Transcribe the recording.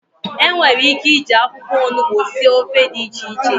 enwere ike iji akwukwo onugbu sie ofe di iche iche?